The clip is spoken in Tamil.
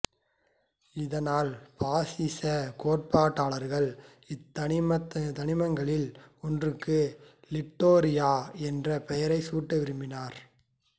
இதனால் பாசிச கோட்பாட்டாளர்கள் இத்தனிமங்களில் ஒன்றுக்கு லிட்டோரியா என்ற பெயரைச் சூட்ட விரும்பினர்